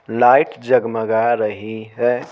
Light जगमगा रही है।